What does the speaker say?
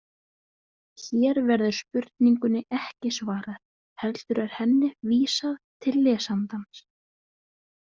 Hér verður spurningunni ekki svarað heldur er henni vísað til lesandans.